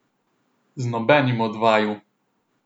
Z nobenim od vaju!